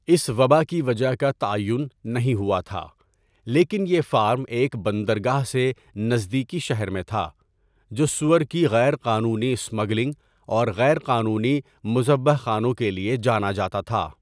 اس وبا کی وجہ کا تعین نہیں ہوا تھا لیکن یہ فارم ایک بندرگاہ سے نزدیکی شہر میں تھا، جو سؤر کی غیر قانونی اسمگلنگ اور غیر قانونی مذبح خانوں کے لیے جانا جاتا تھا۔